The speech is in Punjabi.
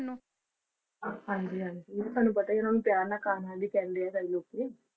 ਹਾਂਜੀ ਹਾਂਜੀ ਤੁਹਾਨੂੰ ਪਤਾ ਹੀ ਹੈ ਓਹਨਾ ਨੂੰ ਪਿਆਰ ਨਾਲ ਕਾਨਹਾ ਵੀ ਕਹਿੰਦੇ ਹੈ ਸਾਰੇ ਲੋਕੀ।